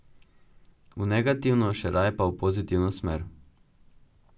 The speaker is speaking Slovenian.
V negativno, še raje pa v pozitivno smer.